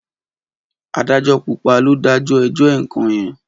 Adájọ́ púpà lò dàjọ ẹjọ ẹkan yen.